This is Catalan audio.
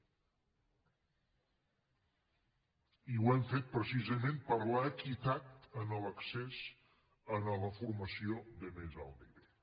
i ho hem fet precisament per l’equitat en l’accés a la formació de més alt nivell